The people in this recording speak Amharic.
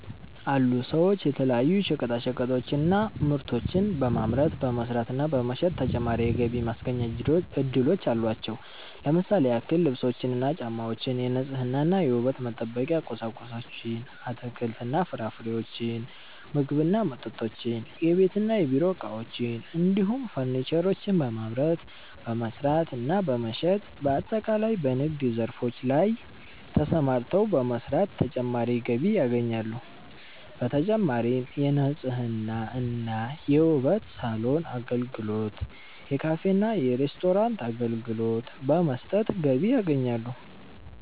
አሉ ሰዎች የተለያዩ ሸቀጣሸቀጦችን እና ምርቶችን በማምረት፣ በመስራት እና በመሸጥ ተጨማሪ የገቢ ማስገኛ እድሎች አሏቸው። ለምሳሌ ያክል ልብሶችን እና ጫማወችን፣ የንጽህና እና የውበት መጠበቂያ ቁሳቁሶችን፣ አትክልት እና ፍራፍሬዎችን፣ ምግብ እና መጠጦችን፣ የቤት እና የቢሮ እቃዎችን እንዲሁም ፈርኒቸሮችን በማምረት፣ በመስራት እና በመሸጥ በአጠቃላይ በንግድ ዘርፎች ላይ ተሰማርተው በመስራት ተጨማሪ ገቢ ያገኛሉ። በተጨማሪም የንጽህና እና የውበት ሳሎን አገልግሎት፣ የካፌ እና ሬስቶራንት አገልግሎት በመስጠት ገቢ ያገኛሉ።